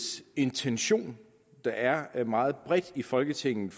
intention der er er meget bredt i folketinget